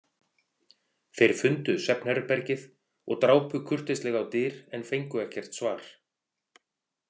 Þeir fundu svefnherbergið og drápu kurteislega á dyr en fengu ekkert svar.